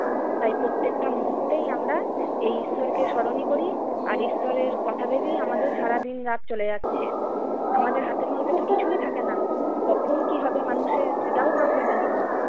তাই প্রত্যেকটা মুহূর্তেই আমরা এই ঈশ্বরকে স্মরণই করি আর ঈশ্বরের কথা ভেবেই আমাদের সারাদিন রাত চলে যাচ্ছে। আমাদের হাতের মধ্যে তো কিছুই থাকে না! কখন কি হবে মানুষের সেটাও তো আমরা জানি না।